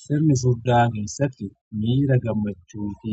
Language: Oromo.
Sirni soddaa keessatti miira gammachuu fi